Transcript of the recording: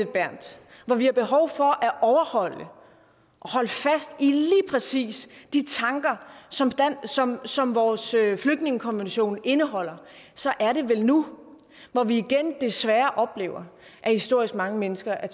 berth hvor vi har behov for at overholde og holde fast i de tanker som som vores flygtningekonvention indeholder så er det vel nu hvor vi igen desværre oplever at historisk mange mennesker er